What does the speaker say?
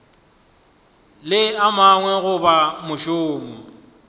le a mangwe goba mošomo